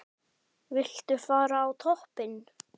Viltu fara á toppinn?